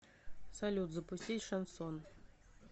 салют запустить шансон